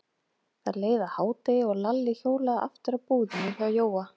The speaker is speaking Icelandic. Það leið að hádegi og Lalli hjólaði aftur að búðinni hjá Jóa.